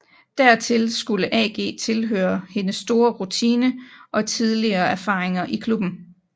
Dertil skulle AG tilføre hendes store rutine og tidligere erfaringer i klubben